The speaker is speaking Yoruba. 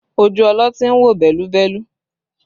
Ojú ọlọ́tí ń wò bẹ́lúbẹ́lú